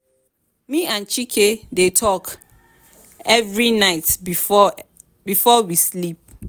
me and chika dey talk every night before before we sleep.